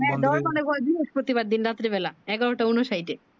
হ্যাঁ ডোর মানে ভয় বৃহস্পতি বার দিন রাত্রে বেলা এগারো টা ঊনষাট এ